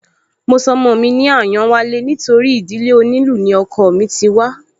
Mo sọ ọmọ mi ní Àyánwálé nítorí ìdílé onílù ni ọkọọ̀ mí ti wá